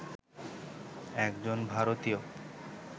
একজন ভারতীয়